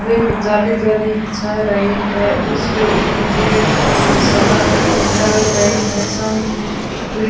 एक जाली जाली बिछा रही है उसके ऊपर ग्रिट और मसाला डाल रहे हैं शाम --